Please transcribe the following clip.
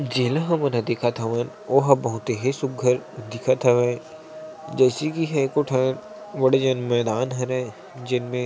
जेला हमन ह देखत हवन ओहा बहुत ही सुघ्घर दिखत हवय जैसी की ए ह एको ठन बड़े जन मैदान हरय जेन में --